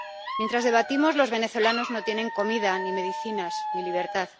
Mientras debatimos, los venezolanos no tienen comida, ni medicinas, ni libertad.